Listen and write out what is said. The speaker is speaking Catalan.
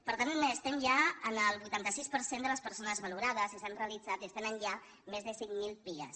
per tant estem ja en el vuitanta sis per cent de les persones valorades i s’han realitzat i es tenen ja més de cinc mil pia